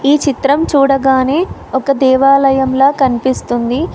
ఈ చిత్రం చూడగానే ఒక దేవాలయంలో కనిపిస్తుంది.